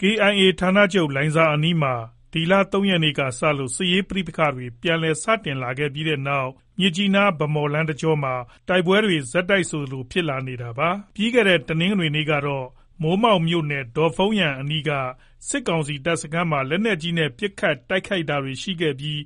KIA ဌာနချုပ် လိုင်ဇာအနီးမှာ ဒီလ၃ ရက်နေ့က စလို့ စစ်ရေးပဋိပက္ခတွေ ပြန်လည် စတင်လာခဲ့ပြီးတဲ့နောက် မြစ်ကြီးနား- ဗန်းမော်လမ်း တကြောမှာ တိုက်ပွဲတွေ ဆက်တိုက်ဆိုသလို ဖြစ်လာနေတာပါ။ ပြီးခဲ့တဲ့ တနင်္ဂနွေနေ့ကတော့ မိုးမောက်မြို့နယ် ဒေါ့ဖုန်းယန်အနီးက စစ်ကောင်စီတပ်စခန်းမှာ လက်နက်ကြီးနဲ့ ပစ်ခတ် တိုက်ခိုက်တာတွေ ရှိခဲ့ပြီး